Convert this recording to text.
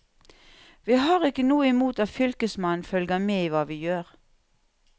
Vi har ikke noe imot at fylkesmannen følger med i hva vi gjør.